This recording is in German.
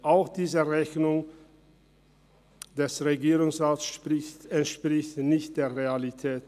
Auch diese Rechnung des Regierungsrats entspricht nicht der Realität.